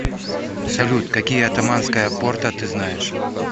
салют какие оттоманская порта ты знаешь